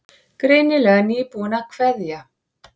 Greinilega nýbúin að kveðja.